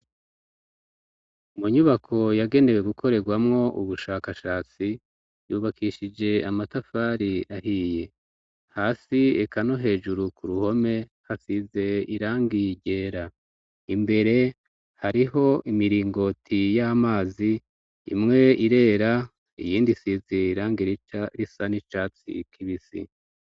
Munyubako yagenewe gukorerwamwo ubushakashatsi yubakishije amatafari ahiye hasi eka no hejuru kuruhome hasize irangi ryera, imbere hariho imirigoti y'amazi, imwe irera iyindi isize irangi risa n'icatsi kibisi.